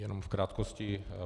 Jenom v krátkosti.